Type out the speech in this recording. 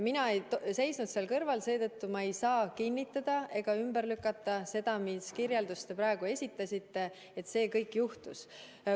Mina ei seisnud seal kõrval, seetõttu ma ei saa kinnitada ega ümber lükata seda kirjeldust, mis te praegu esitasite, väites, et see kõik juhtus.